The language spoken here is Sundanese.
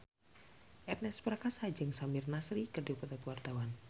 Ernest Prakasa jeung Samir Nasri keur dipoto ku wartawan